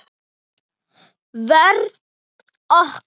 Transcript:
Vörn okkar